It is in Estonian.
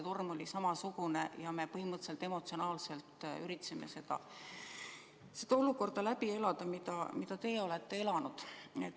Torm oli samasugune ja me põhimõtteliselt emotsionaalselt üritasime seda olukorda läbi elada, mida teie olete elanud.